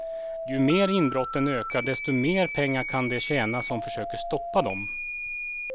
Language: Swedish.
Ju mer inbrotten ökar desto mer pengar kan de tjäna som försöker stoppa dem.